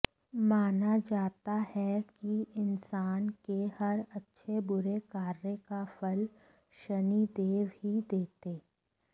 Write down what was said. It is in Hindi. माना जाता है कि इंसान के हर अच्छे बुरे कार्य का फल शनिदेव ही देते